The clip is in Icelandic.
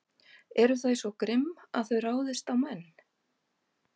Eru þau svo grimm að þau ráðist á menn?